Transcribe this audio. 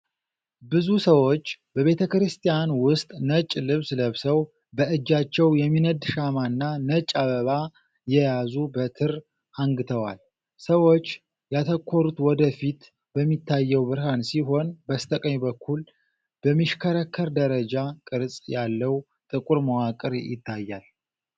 ብዙ ሰዎች በቤተ ክርስቲያን ውስጥ ነጭ ልብስ ለብሰው በእጃቸው የሚነድ ሻማና ነጭ አበባ የያዙ በትር አንግተዋል። ሰዎች ያተኮሩት ወደ ፊት በሚታየው ብርሃን ሲሆን፣ በስተቀኝ በኩል በሚሽከረከር ደረጃ ቅርጽ ያለው ጥቁር መዋቅር ይታያል።